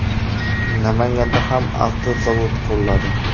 Namanganda ham avtozavod quriladi.